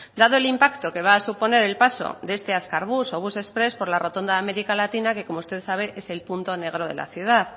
dado el impacto que va a suponer el paso de este azkar bus o bus express por la rotonda de américa latina que como usted sabe es el punto negro de la ciudad